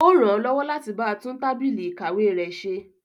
Ó ràn án lọ́wọ́ láti ba tún tábìlì ìkàwé rẹ̀ ṣe.